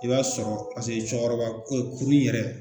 I b'a sɔrɔ cɛkɔrɔba ko kurun yɛrɛ